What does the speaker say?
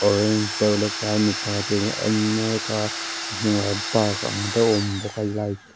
orange deuh mipa ten an en mek a a hnungah park ang deuh a awm bawk a light --